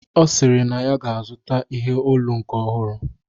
Ọ sịrị na ya ga-azụta ihe olu nke ọhụrụ